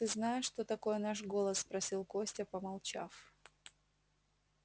ты знаешь что такое наш голод спросил костя помолчав